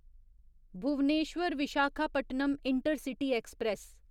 Bhubaneswar Visakhapatnam intercity express